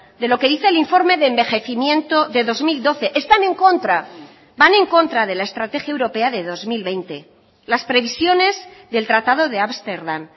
de lo que dice el informe de envejecimiento de dos mil doce están en contra van en contra de la estrategia europea de dos mil veinte las previsiones del tratado de ámsterdam